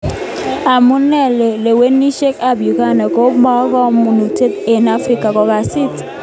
Amune lewenisiet ab Uganda kopokamanutiet eng Afrika Kongasis?